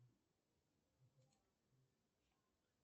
джой как называется коралловый остров